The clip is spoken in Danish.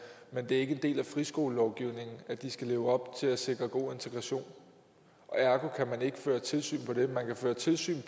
men det er ikke en del af friskolelovgivningen at de skal leve op til at sikre god integration og ergo kan man ikke føre tilsyn med det man kan føre tilsyn